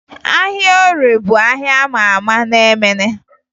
Ahịa Orie bụ ahịa a ma ama na Emene